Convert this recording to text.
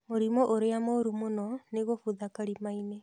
Mũrimũ ũrĩa molu mũno ni gũbutha kalimainĩ